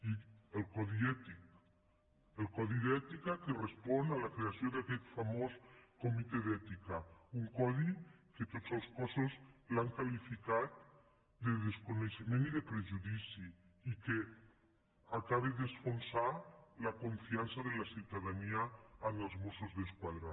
i el codi ètic el codi d’ètica que respon a la creació d’aquest famós comitè d’ètica un codi que tots els cossos l’han qualificat de desconeixement i de prejudici i que acaba d’enfonsar la confiança de la ciutadania amb els mos·sos d’esquadra